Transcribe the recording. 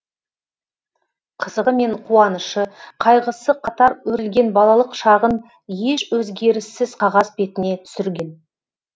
қызығы мен қуанышы қайғысы қатар өрілген балалық шағын еш өзгеріссіз қағаз бетіне түсірген